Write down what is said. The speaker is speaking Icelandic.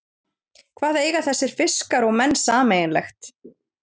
Hvað eiga þessir fiskar og menn sameiginlegt?